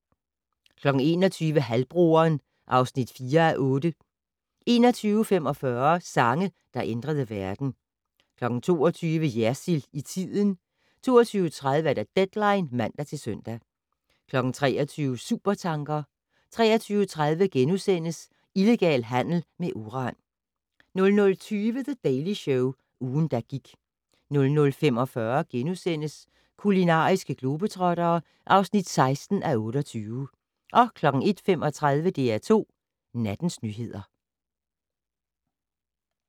21:00: Halvbroderen (4:8) 21:45: Sange der ændrede verden 22:00: Jersild i tiden 22:30: Deadline (man-søn) 23:00: Supertanker 23:30: Illegal handel med uran * 00:20: The Daily Show - ugen, der gik 00:45: Kulinariske globetrottere (16:28)* 01:35: DR2 Nattens nyheder